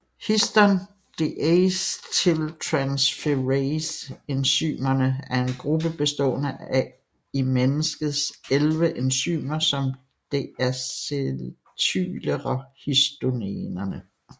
Histon deacetyltransferase enzymerne er en gruppe bestående af i mennesket 11 enzymer som deacetylerer histonerne